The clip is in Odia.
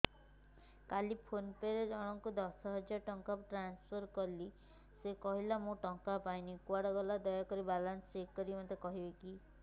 କାଲି ଫୋନ୍ ପେ ରେ ଦଶ ହଜାର ଟଙ୍କା ଜଣକ ପାଖକୁ ଟ୍ରାନ୍ସଫର୍ କରିଥିଲି ସେ କହିଲା ମୁଁ ଟଙ୍କା ପାଇନି କୁଆଡେ ଗଲା ଦୟାକରି ମୋର ବାଲାନ୍ସ ଚେକ୍ କରି ମୋତେ କହିବେ କି